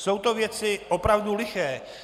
Jsou to věci opravdu liché.